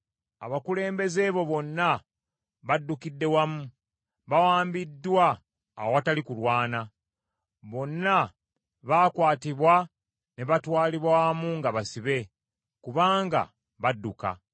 Abakulembeze bo bonna baddukidde wamu; bawambiddwa awatali kulwana. Bonna baakwatibwa ne batwalibwa wamu nga basibe, kubanga badduka.